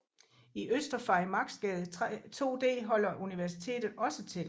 I Øster Farimagsgade 2D holder Universitetet også til